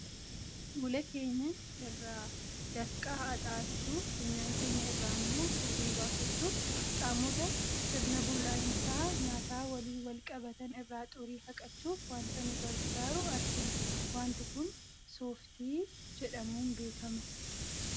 Fuula keenya irraa dafqa haaxa'achuuf, funyaan keenya irraa immoo furrii baafachuuf, qaamota sirna bullaa'insa nyaataa waliin wal qabatan irraa xurii haqachuuf waanta nu gargaaru argina. Waanti kun sooftii jedhamuun beekama.